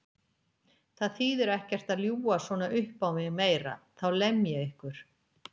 Það þýðir ekkert að ljúga svona uppá mig meira, þá lem ég ykkur!